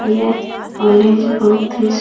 यह कॉलेज बहुत ही --